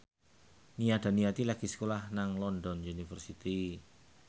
Nia Daniati lagi sekolah nang London University